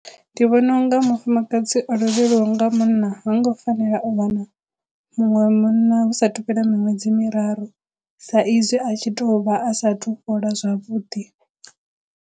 Ndi vhona unga mufumakadzi o lovhelwaho nga munna ha ngo fanela u wana muṅwe munna hu sathu fhela miṅwedzi miraru sa izwi a tshi to vha a sathu fhola zwavhuḓi.